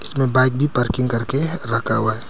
यहां बाइक भी पार्किंग करके रखा हुआ है।